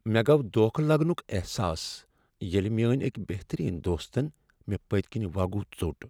مےٚ گوٚو دھوکہ لگنک احساس ییٚلہ میٲنۍ أکۍ بہترین دوستن مےٚ پٔتۍ کنۍ وگُو ژوٚٹ۔